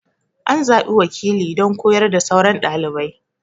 An zaɓi wakili don koyar da sauran ɗalibai.